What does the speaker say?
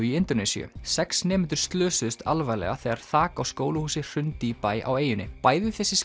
í Indónesíu sex nemendur slösuðust alvarlega þegar þak á skólahúsi hrundi í bæ á eyjunni bæði þessi